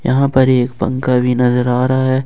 यहां पर एक पंखा भी नजर आ रहा है।